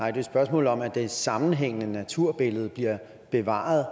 et spørgsmål om at det sammenhængende naturbillede bliver bevaret